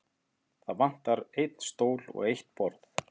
Það vantar einn stól og eitt borð.